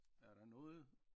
Er der noget